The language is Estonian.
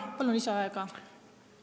Palun lisaaega!